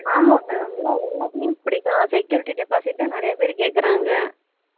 ஆமா இப்போ எல்லா எல்லாத்துலயும் இப்படி தான் security deposit தான் நிறைய பேர் கேக்குறாங்க